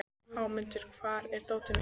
Hámundur, hvar er dótið mitt?